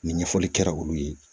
Ni ɲɛfɔli kɛra olu ye